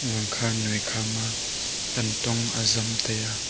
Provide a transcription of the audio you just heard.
ezong kha noi kha ma tantong azam tai a.